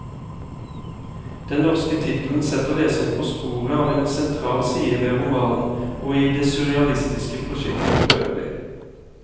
Den norske tittelen setter leseren på sporet av en sentral side ved romanen, og i det surrealistiske prosjektet forøvrig.